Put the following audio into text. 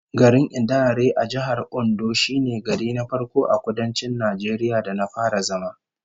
Garin Idanre a Jihar Ondo shine gari na farko a Kudancin Najeriya da na fara zama